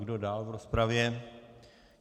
Kdo dál v rozpravě?